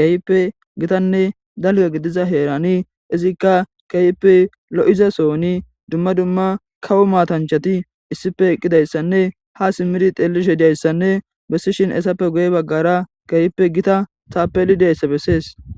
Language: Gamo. keype gitanne dalga gidiza heerani izikka keype lo7izasooni dumma dumma kawo matanchati issife eqqidayssanne ha simmidi xeelishe diayssanne bessishin essappe guye baggara keyippe gita taapelidayssa bessees